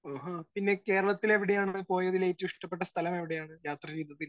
Speaker 1 ആഹാ. പിന്നെ കേരളത്തിൽ എവിടെയാണ് പോയതിൽ ഏറ്റവും ഇഷ്ടപ്പെട്ട സ്ഥലം എവിടെയാണ് യാത്ര ചെയ്തതിൽ?